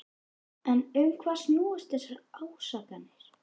En um hvað snúast þessar ásakanir?